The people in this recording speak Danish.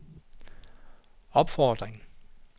opfordring